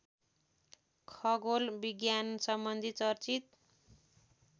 खगोल विज्ञानसम्बन्धी चर्चित